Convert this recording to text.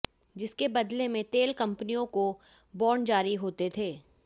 जिसके बदले में तेल कंपनियों को बांड जारी होते थे